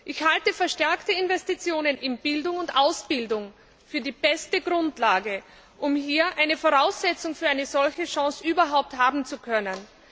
Ich halte verstärkte Investitionen in Bildung und Ausbildung für die beste Grundlage, um hier eine Voraussetzung für eine solche Chance überhaupt haben zu können.